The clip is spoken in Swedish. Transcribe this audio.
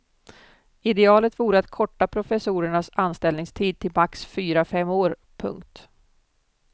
Idealet vore att korta professornas anställningstid till max fyra fem år. punkt